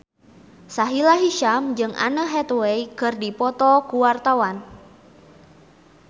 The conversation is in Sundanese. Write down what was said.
Sahila Hisyam jeung Anne Hathaway keur dipoto ku wartawan